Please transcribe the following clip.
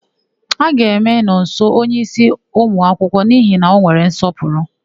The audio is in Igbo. A ga-eme Nọnso onyeísí ụmụakwụkwọ n'ihi na ọ nwere nsọpụrụ.